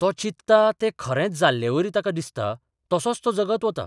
तो चिंतता तें खरेंच जाल्लेवरी ताका दिसता, तसोच तो जगत वता.